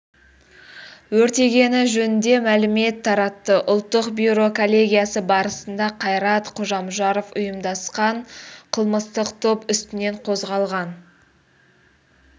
өртегені жөнінде мәлімет таратты ұлттық бюро коллегиясы барысында қайрат қожамжаров ұйымдасқан қылмыстық топ үстінен қозғалған